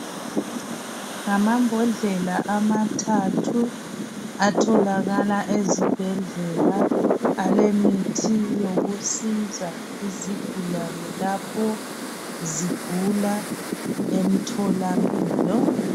Ngamambodlela amathathu atholakala ezibhedlela alemithi yokusiza izigulane lapho zigula emtholampilo